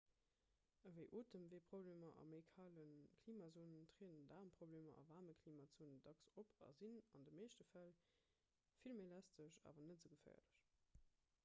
ewéi otemweeproblemer a méi kale klimazone trieden daarmproblemer a waarme klimazonen dacks op a sinn an de meeschte fäll vill méi lästeg awer net esou geféierlech